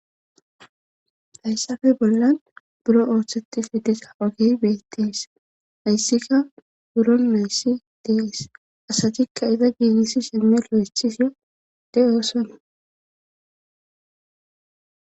Hayssafe bollan buro ooththeti fi desa agey beettees hayssika buro nayssi dees asatikka iza giidisi shemmi lo7echiso de7osona.